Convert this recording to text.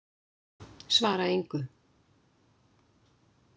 Svara engu.